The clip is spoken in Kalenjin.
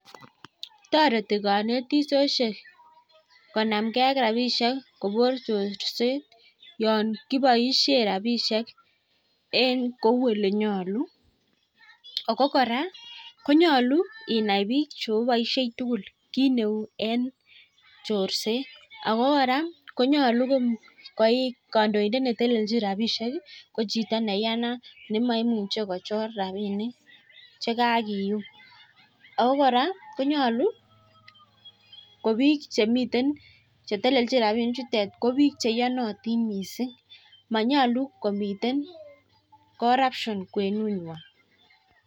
Toreti konetishoshek konamgei ak rabishek kobos chorset. Yon kiboishe rabishek kou ole nyolu. Ako kora konyolu inai biik cheoboishei tugul kiit neu eng chorset. Ako kora konyolu kandoindet netelelchin rabishek ko chito neiyanat nemaimuchei kochor rabinik che kakeyum. Ako kora konyolu ko biik chemiten chetelelchin rabinichutet ko biik che iyonatin mising . Manyolu komiten coruption kwenung'wai.